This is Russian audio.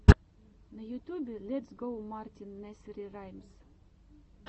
на ютубе летс гоу мартин несери раймс